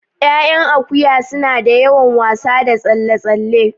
Ƴaƴan akuya suna da yawan wasa da tsalle tsalle